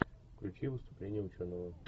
включи выступление ученого